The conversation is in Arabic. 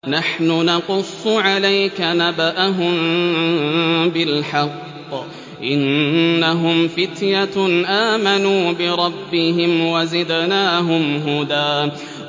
نَّحْنُ نَقُصُّ عَلَيْكَ نَبَأَهُم بِالْحَقِّ ۚ إِنَّهُمْ فِتْيَةٌ آمَنُوا بِرَبِّهِمْ وَزِدْنَاهُمْ هُدًى